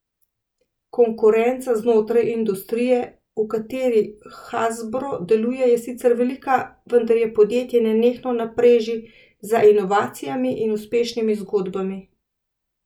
Konkurenca znotraj industrije, v kateri Hasbro deluje, je sicer velika, vendar je podjetje nenehno na preži za inovacijami in uspešnimi zgodbami.